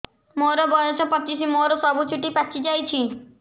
ମୋର ବୟସ ପଚିଶି ମୋର ସବୁ ଚୁଟି ପାଚି ଯାଇଛି